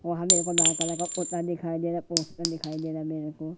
वहां मेरे को लाल कलर का कुर्ता दिखाई दे रहा पोस्टर दिखाई दे रहा मेरे को--